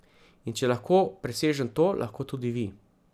In če lahko presežem to, lahko tudi vi.